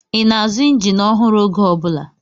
Ị na-azụ injin ọhụrụ oge ọ bụla?